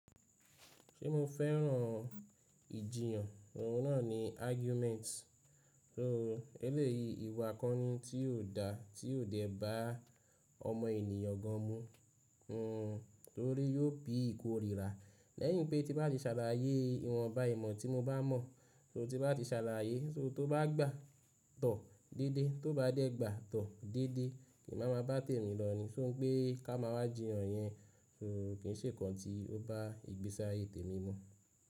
Ṣé mo fẹ́ràn ìjiyàn? Oun náà ni argument. Òun ẹlẹ́yìí ìwà akọni tí óò da, tí óò dẹ̀ ba ọmọ ènìyàn gan mú. Hmm, torí yóò bí ìkórìíra. Lẹ́yìn pé tí bá ti ṣàlàyé ìwọ̀nba ìmọ̀ tí mo bá mọ̀, so tí bá ti ṣàlàyé, so tó bá gbà tọ̀ déédé, tó bá dẹ̀ gbà tọ̀ déédé, emì má ba tẹ̀ mí lọ ní, ṣó n pé ká má a jíyàn yẹn, ko kì n ṣe nǹkan tí ó bá ìgbésáyé tèmi mọ̀